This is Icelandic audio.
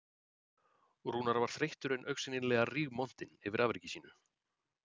Rúnar var þreyttur en augsýnilega rígmontinn yfir afreki sínu